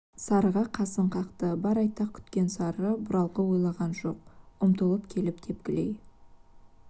сарыға қасын қақты бар айтақ күткен сары бұралқы ойланған жоқ ұмтылып келіп тепкілей